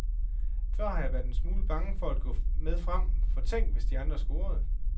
Før har jeg været en smule bange for at gå med frem, for tænk, hvis de andre scorede.